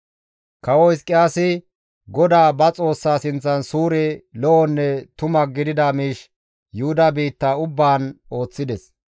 Kawo Hizqiyaasi GODAA ba Xoossaa sinththan suure, lo7onne tuma gidida miish Yuhuda biitta ubbaan ooththides.